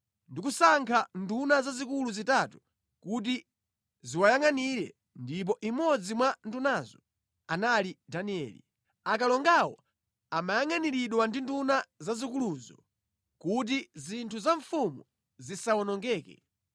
ndikusankha nduna zazikulu zitatu kuti ziwayangʼanire ndipo imodzi mwa ndunazo anali Danieli. Akalongawo amayangʼaniridwa ndi nduna zazikuluzo kuti zinthu za mfumu zisawonongeke.